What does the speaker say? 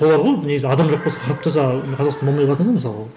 солар ғой негізі адам жоқ болса қазақстан болмай қалады ғой мысалы